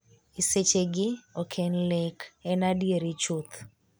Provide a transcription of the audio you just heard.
e sechegi ok en lek, en adieri chuth